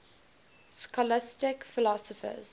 scholastic philosophers